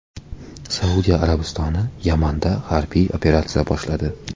Saudiya Arabistoni Yamanda harbiy operatsiya boshladi.